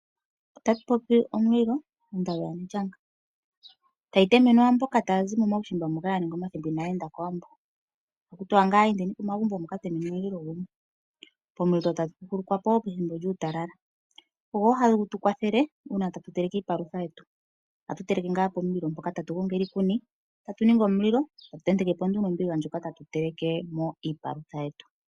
Otatu popi omulilo, ondalu yaNElyanga, hayi temenwa mboka ya ninga omathimbo inaya enda kOwambo. Ohaku ti wa ngaa naaye kOwambo ya ka temenwe omulilo. Pomulilo ohatu huhulukwa po pethimbo lyuutalala. Ogo wo gatu kwathele okuteleka iipalutha yetu. Ohatu teleke pomulilo mpoka, tatu gongele iikuni, tatu ningi omulilo tatu tenteke po nduno ombiga moka tatu telekele mo iipalutha yetu.